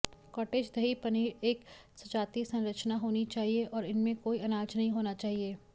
cottage दही पनीर एक सजातीय संरचना होनी चाहिए और इसमें कोई अनाज नहीं होना चाहिए